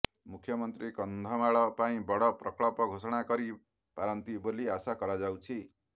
ମୁଖ୍ୟମନ୍ତ୍ରୀ କନ୍ଧମାଳ ପାଇଁ ବଡ ପ୍ରକଳ୍ପ ଘୋଷଣା କରି ପାରନ୍ତି ବୋଲି ଆଶା କରାଯାଉଛି